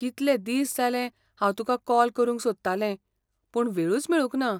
कितलें दीस जालें हांव तुकां कॉल करूंक सोदतालें, पूण वेळूच मेळूंक ना.